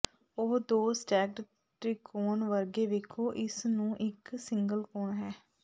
ਉਹ ਦੋ ਸਟੈਕਡ ਤ੍ਰਿਕੋਣ ਵਰਗੇ ਵੇਖੋ ਇਸ ਨੂੰ ਇੱਕ ਸਿੰਗਲ ਕੋਣ ਹੈ